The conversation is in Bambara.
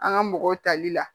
An ka mɔgɔw tali la